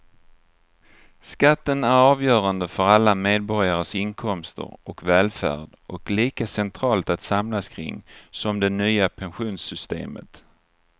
Skatten är avgörande för alla medborgares inkomster och välfärd och lika centralt att samlas kring som det nya pensionssystemet.